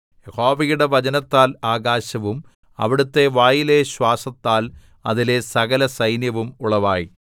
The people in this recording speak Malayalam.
യഹോവയുടെ വചനത്താൽ ആകാശവും അവിടുത്തെ വായിലെ ശ്വാസത്താൽ അതിലെ സകലസൈന്യവും ഉളവായി